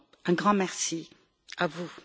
Un grand merci à vous.